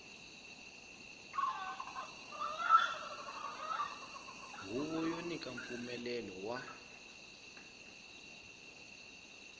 huvo yo nyika mpfumelelo wa